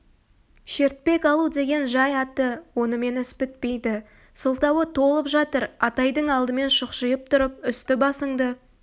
шертпек алу деген жай аты онымен іс бітпейді сылтауы толып жатыр атайдың алдымен шұқшиып тұрып үсті-басыңды